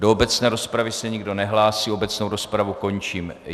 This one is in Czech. Do obecné rozpravy se nikdo nehlásí, obecnou rozpravu končím.